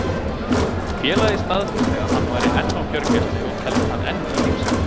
Félagið staðfesti að hann væri enn á gjörgæslu og telst hann enn í lífshættu.